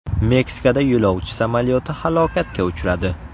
Meksikada yo‘lovchi samolyoti halokatga uchradi .